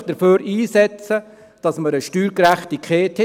Setzen Sie sich dafür ein, dass wir eine Steuergerechtigkeit haben.